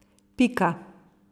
Pika.